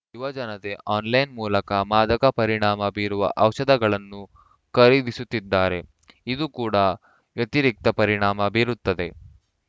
ಯುವಜನತೆ ಆನ್‌ಲೈನ್‌ ಮೂಲಕ ಮಾದಕ ಪರಿಣಾಮ ಬೀರುವ ಔಷಧಗಳನ್ನು ಖರೀದಿಸುತ್ತಿದ್ದಾರೆ ಇದೂ ಕೂಡ ವ್ಯತಿರಿಕ್ತ ಪರಿಣಾಮ ಬೀರುತ್ತದೆ